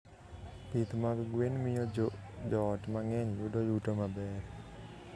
Pith mag gwen miyo joot mang'eny yudo yuto maber.